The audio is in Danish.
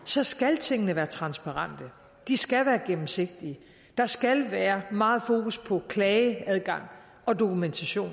så skal tingene være transparente de skal være gennemsigtige der skal være meget fokus på klageadgang og dokumentation